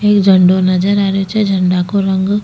ये झंडो नजर आ रही छे झंडा को रंग --